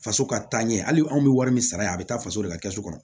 Faso ka taaɲɛ hali anw bɛ wari min sara a bɛ taa faso de ka kɛsu kɔnɔ